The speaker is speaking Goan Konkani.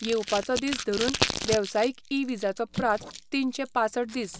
येवपाचो दीस धरून वेवसायीक ई विजाचो प्राझ तीनशे पांसठ दीस.